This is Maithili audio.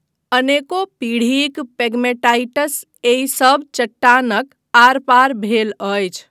अनेको पीढ़ीक पेगमेटाइट्स एहि सब चट्टानक आर पार भेल अछि।